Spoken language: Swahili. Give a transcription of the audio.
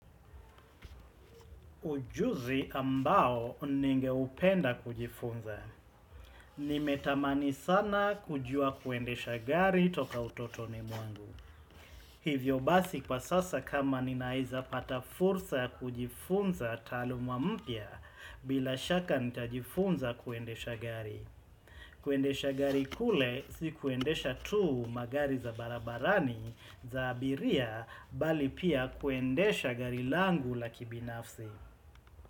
Ujuzi ambao ninge upenda kujifunza. Nimetamani sana kujua kuendesha gari toka utoto ni mwangu. Hivyo basi kwa sasa kama ninaeza pata fursa kujifunza taalu mampya bila shaka nitajifunza kuendesha gari. Kuendesha gari kule si kuendesha tu magari za barabarani za abiria bali pia kuendesha gari langu la kibinafsi.